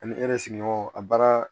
Ani sigiɲɔgɔnw a baara